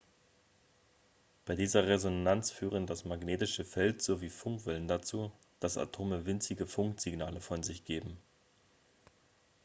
bei dieser resonanz führen das magnetische feld sowie funkwellen dazu dass atome winzige funksignale von sich geben